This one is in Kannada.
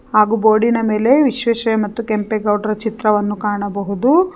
ಹಾಗು ಬೋರ್ಡಿ ನ ಮೇಲೆ ವಿಶ್ವೇಶ್ವರ ಮತ್ತು ಕೆಂಪೇಗೌಡರ ಚಿತ್ರವನ್ನು ಕಾಣಬಹುದು.